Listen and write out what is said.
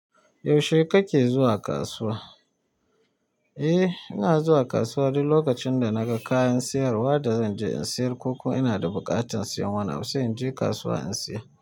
Yaushe kake zuwa kasuwa? Eh, ina zuwa kasuwa duk lokacin da naga kayan siyarwa da zan je in siyar ko ko ina da buƙatar siyan wani abu sai in je kasuwa in siya.